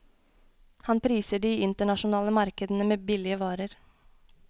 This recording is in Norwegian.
Han priser de internasjonale markedene med billige varer.